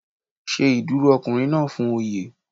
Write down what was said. Ṣe ìdúró ọkùnrin náà fún Oyè.